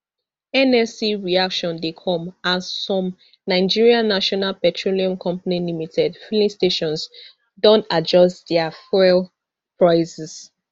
nlc reaction dey come as some nigerian national petroleum company limited filling stations don adjust dia fuel prices